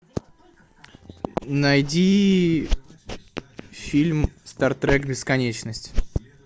найди фильм стартрек бесконечность